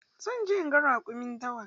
Zan je inga raƙumin dawa.